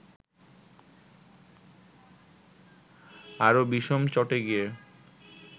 আরো বিষম চটে গিয়ে